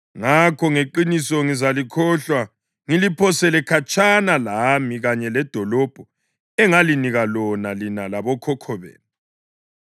Ngakho, ngeqiniso ngizalikhohlwa ngiliphosele khatshana lami kanye ledolobho engalinika lona lina labokhokho benu.